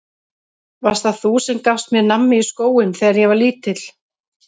Varst það þú sem gafst mér nammi í skóinn þegar ég var lítill?